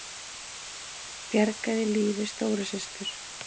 Bjargaði lífi stóru systur